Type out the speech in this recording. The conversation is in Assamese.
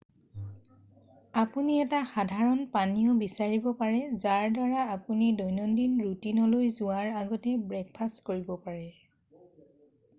আপুনি এটা সাধাৰণ পানীয় বিচাৰিব পাৰে যাৰ দ্বাৰা আপুনি দৈনন্দিন ৰুটিনলৈ যোৱাৰ আগতে ব্ৰেকফাষ্ট কৰিব পাৰে